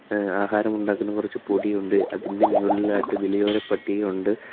A ആഹാരം ഉണ്ടാക്കുന്ന കുറച്ച് പൊടിയുണ്ട് അതിന്റെ മുകളിലായിട്ട് വിലയോര പട്ടിക ഉണ്ട്.